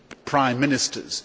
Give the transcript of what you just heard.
prime ministers.